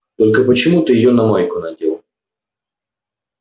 только почему ты её на майку надел